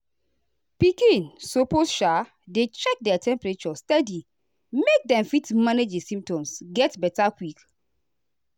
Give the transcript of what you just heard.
pikin suppose um dey check their temperature steady make dem fit manage di symptoms get beta quick.